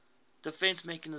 defence mechanism